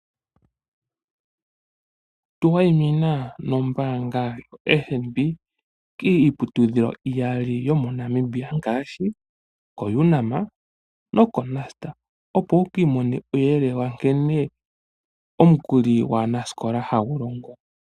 Tu wayimina nombaanga yoFNB kiiputudhilo iyali yomoNamibia ngaashi koUNAM nokoNUST, opo wu ki imonene uuyelele wa nkene omukuli gwaanasikola hagu longo.